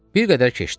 Bir qədər keçdi.